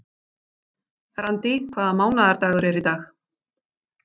Randý, hvaða mánaðardagur er í dag?